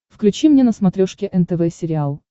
включи мне на смотрешке нтв сериал